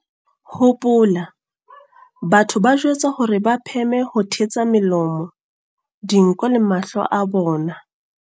Hopola, batho ba jwetswa hore ba pheme ho thetsa melomo, dinko le mahlo a bona.